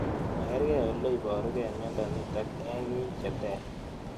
Makarg'ei ole iparukei miondo nitok eng' iik che ter